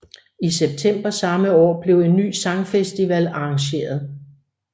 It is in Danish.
I september samme år blev en ny sangfestival arrangeret